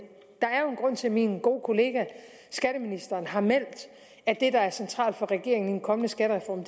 grund til at min gode kollega skatteministeren har meldt at det der er centralt for regeringen i en kommende skattereform